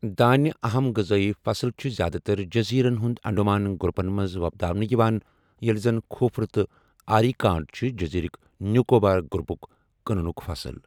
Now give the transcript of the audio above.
دانہِ، اَہَم غذٲیی فصٕل چھِ زِیٛادٕ تر جٔزیرَن ہٕنٛد انڈمان گروپَن منٛز وۄپداونہٕ یِوان، ییٚلہِ زَن کھوٗپرٕ تہٕ آریکا نٹ چھِ جٔزیرٕک نیکوبار گروپُک کٕننُک فصٕل